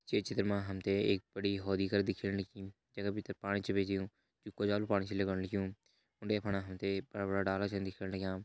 ये चित्र मा हमते एक बड़ी होदि कर दिखेण लगीं जैका भितर पाणी छा भेजियूं जो कोजालु पाणी छ लगण लग्युं उंडे फंडे हम ते बड़ा बड़ा डाला छन दिखेण लग्यां।